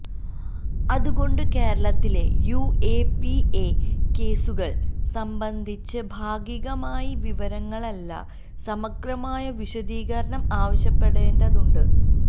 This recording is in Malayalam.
അത് കൊണ്ട് കേരളത്തിലെ യുഎപിഎ കേസുകൾ സംബന്ധിച്ച് ഭാഗികമായ വിവരങ്ങളല്ല സമഗ്രമായ വിശദീകരണം ആവശ്യപ്പെടേണ്ടതുണ്ട്